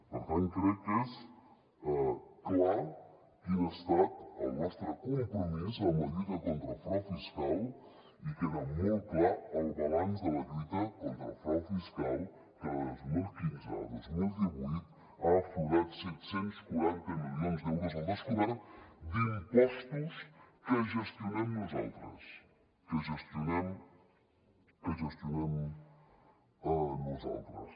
per tant crec que és clar quin ha estat el nostre compromís amb la lluita contra el frau fiscal i queda molt clar el balanç de la lluita contra el frau fiscal que de dos mil quinze a dos mil divuit han aflorat set cents i quaranta milions d’euros al descobert d’impostos que gestionem nosaltres que gestionem nosaltres